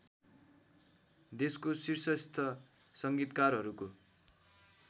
देशको शीर्षस्थ संगीतकारहरूको